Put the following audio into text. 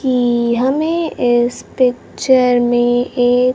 कि हमें इस पिक्चर में एक--